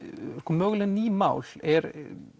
möguleg ný mál er